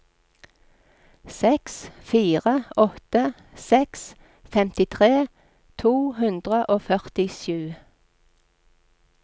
seks fire åtte seks femtitre to hundre og førtisju